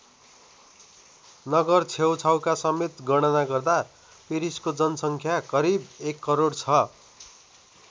नगर छेउछाउका समेत गणना गर्दा पेरिसको जनसङ्ख्या करिब १ करोड छ।